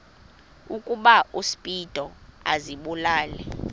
ukuba uspido azibulale